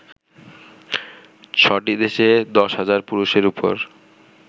ছ'টি দেশে ১০ হাজার পুরুষের ওপর